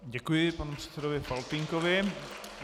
Děkuji panu předsedovi Faltýnkovi.